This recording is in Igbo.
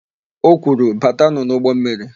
O kwuru, "batanụ n'ụgbọmmiri"!